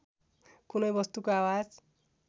कुनै वस्तुको आवाज